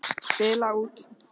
Spila út.